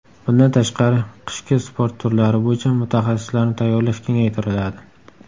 Bundan tashqari, qishki sport turlari bo‘yicha mutaxassislarni tayyorlash kengaytiriladi.